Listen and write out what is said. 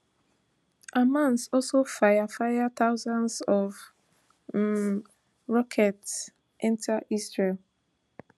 hamas also fire fire thousands of um rockets enta israel